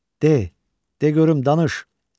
De, de görüm danış.